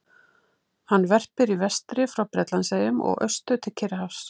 Hann verpir í vestri frá Bretlandseyjum og austur til Kyrrahafs.